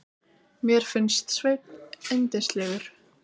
Mér fannst Sveinn yndislegur.